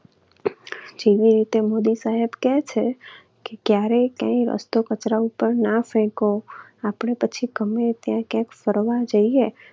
જેવી રીતે મોદી સાહેબ કહે છે કે ક્યારેય કઈ કચરો રસ્તા ઉપર ના ફેકો. આપણે પછી ગમે ત્યાં ક્યાંક ફરવા જઈએ